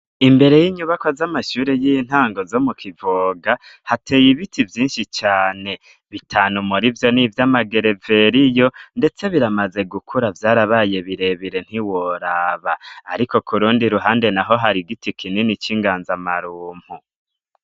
Imbere y'inyubakwa z'amashure y'intango zo mu Kivoga hateye ibiti vyinshi cane. Bitanu muri vyo ni ivy'amagereveriyo. Ndetse biramaze gukura vyarabaye birebire ntiworaba. Ariko ku rundi ruhande naho hari igiti kinini c'inganzamarumbu.